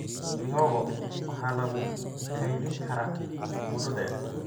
Mihogo waxaa lagu kaydin karaa muddo dheer.